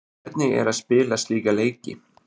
Hvernig er að spila slíka leiki?